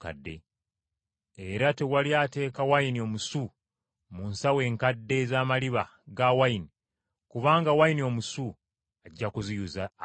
Era tewali ateeka wayini omusu mu nsawo enkadde ez’amaliba ga wayini, kubanga wayini omusu ajja kuziyuza ayiike.